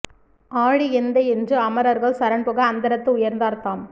ஆழி எந்தை என்று அமரர்கள் சரண் புக அந்தரத்து உயர்ந்தார் தாம்